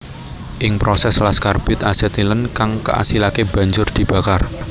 Ing proses las karbit asetilen kang kaasilake banjur dibakar